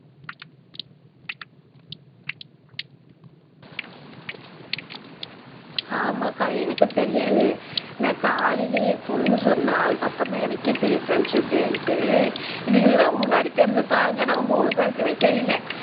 ஆமாக்கா எனக்கு தெரியாது நான் காலையிலேயே பொண்ணு சொன்னா அதுக்கப்புறம்தான் எனக்கே தெரியும் ஃப்ரெண்ட்ஷிப் டேனுட்டு இதுகளுக்கு தான் முன்னாடி தெரியுது பாருங்க நம்ம மூணு பேருக்குமே தெரியல